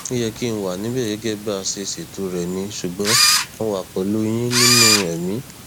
ó yẹ kí n wà níbẹ gẹgẹ bá a ṣe ṣètò rẹ ni ṣùgbọn mo wà pẹlú yín nínú ẹmí